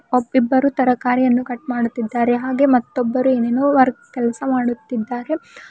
ಒಬ್ ಇಬ್ಬರು ತರಕಾರಿಯನ್ನು ಕಟ್ ಮಾಡುತ್ತಿದ್ದಾರೆ ಹಾಗೆಯೇ ಮತ್ತೊಬ್ಬರು ಏನ್ ಏನೋ ವರ್ಕ್ ಕೆಲಸ ಮಾಡುತ್ತಿದ್ದಾರೆ.